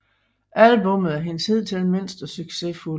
Albummet er hendes hidtil mindst succesfulde